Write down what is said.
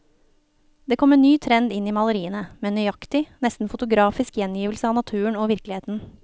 Det kom en ny trend inn i maleriene, med nøyaktig, nesten fotografisk gjengivelse av naturen og virkeligheten.